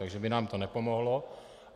Takže by nám to nepomohlo.